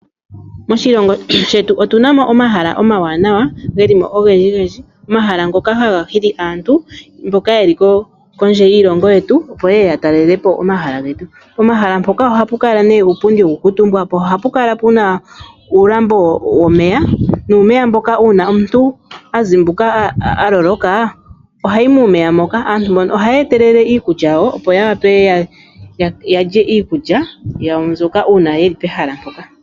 Moshilongos shetu otuna mo omahala omawanawa geli mo ogendji gendji, omahala ngoka haga hili aantu mboka yeli kondje yiilongo yetu opo yeye ya talele po omahala getu, pomahala mpoka ohapu kala nee uupundi hawu kuutumbwa po ohapu kala puna uulambo womeya nuumeya mboka uuna omuntu a zimbuka a vulwa, ohayi muumeya moka.. Aantu ohaya etelele iikulya yawo opo ya wape yalye iikulya yawo mbyoka uuna yeli pehala mpoka.